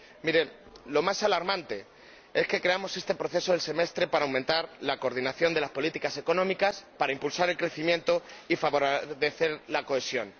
Miren, lo más alarmante es que creamos este proceso del semestre para aumentar la coordinación de las políticas económicas, para impulsar el crecimiento y favorecer la cohesión.